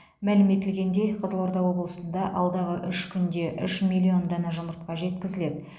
мәлім етілгендей қызылорда облысында алдағы үш күнде үш миллион дана жұмыртқа жеткізіледі